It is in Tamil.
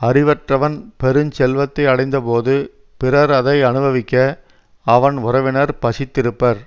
அறிவற்றவன் பெருஞ்செல்வத்தை அடைந்தபோது பிறர் அதை அனுபவிக்க அவன் உறவினர் பசித்திருப்பர்